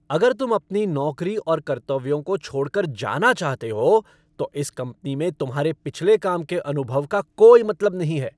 अगर तुम अपनी नौकरी और कर्तव्यों को छोड़ कर जाना चाहते हो, तो इस कंपनी में तुम्हारे पिछले काम के अनुभव का कोई मतलब नहीं है।